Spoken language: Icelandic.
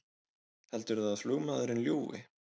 Heldurðu að flugmaðurinn ljúgi!